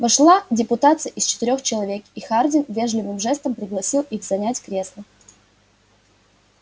вошла депутация из четырёх человек и хардин вежливым жестом пригласил их занять кресла